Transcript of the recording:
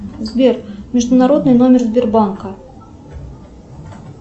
сбер международный номер сбербанка